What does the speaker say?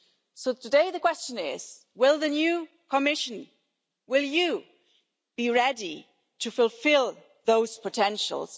So today, the question is will the new Commission, will you be ready to fulfil those potentials?